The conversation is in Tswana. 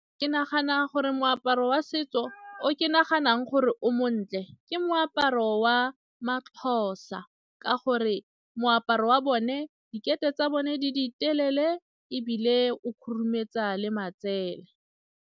Ke nagana gore moaparo wa setso o ke naganang gore o montle ke moaparo wa ma-Xhosa ka gore moaparo wa bone tsa bone di ditelele ebile o khurumetsa le matsele.